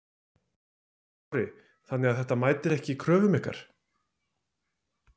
Höskuldur Kári: Þannig að þetta mætir ekki ykkar kröfum?